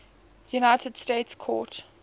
united states court